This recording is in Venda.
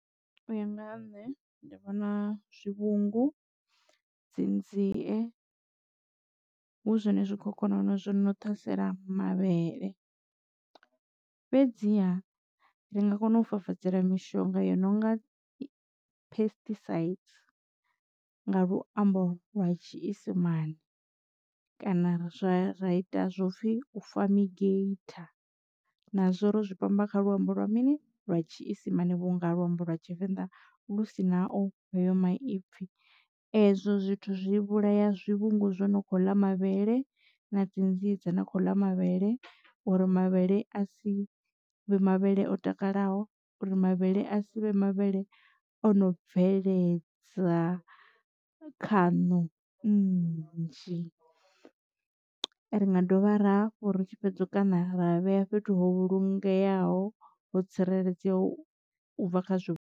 U ya nga ha nṋe ndi vhona zwivhungu dzi nzie hu zwone zwikhokhonono zwino ṱhasela mavhele. Fhedziha ri nga kona u fafadzela mishonga yo no nga phestisaidzi nga luambo lwa tshiisimana kana ra zwa ra ita zwo pfhi u famigeitha na zwo ro zwi pamba kha luambo lwa mini lwa tshiisimane vhunga luambo lwa tshivenḓa lu si naho heyo maipfi. Ezwo zwithu zwi vhulaya zwivhungu zwo no kho ḽa mavhele na dzi nzie dzine kho ḽa mavhele uri mavhele a si vhe mavhele o takalaho uri mavhele a sivhe mavhele ono bveledza khaṋo nnzhi ri nga dovha rafha ri tshi fhedza kana ra vhea fhethu ho vhulungeaho ho tsireledzea u bva khazwo.